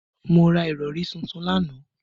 Mo ra ìrọ̀rí tuntun lánàá